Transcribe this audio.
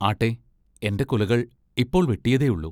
ആട്ടെ, എൻ്റെ കുലകൾ ഇപ്പോൾ വെട്ടിയതേ ഉള്ളു.